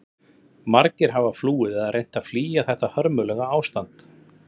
Margir hafa flúið eða reynt að flýja þetta hörmulega ástand.